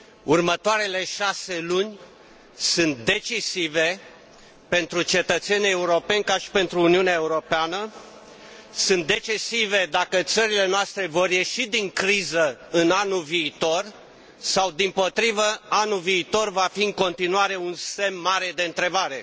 Următoarele șase luni sunt decisive pentru cetățenii europeni ca și pentru Uniunea Europeană, sunt decisive dacă țările noastre vor ieși din criză în anul viitor sau, dimpotrivă, anul viitor va fi în continuare un semn mare de întrebare.